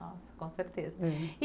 Nossa, com certeza. É. E